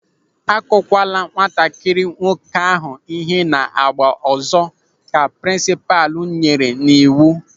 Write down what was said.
"Akukwala nwatakịrị nwoke ahụ ihe na-agba ọzọ", Ka prinsipal nyere n'iwu.